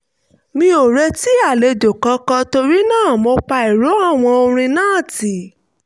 mi ò retí àlejò kankan torí náà mo pa ìró àwo orin náà tì